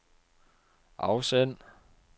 afsend